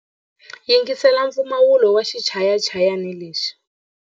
Yingisela mpfumawulo wa xichayachayani lexi.